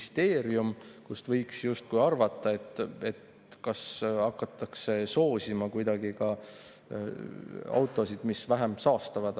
Selle põhjal võiks justkui arvata, et hakatakse soosima kuidagi ka autosid, mis vähem saastavad.